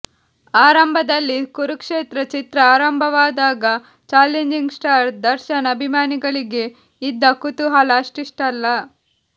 ಆರಂಭದಲ್ಲಿ ಕುರುಕ್ಷೇತ್ರ ಚಿತ್ರ ಆರಂಭವಾದಾಗ ಚಾಲೆಂಜಿಂಗ್ ಸ್ಟಾರ್ ದರ್ಶನ್ ಅಭಿಮಾನಿಗಳಿಗೆ ಇದ್ದ ಕುತೂಹಲ ಅಷ್ಟಿಷ್ಟಲ್ಲ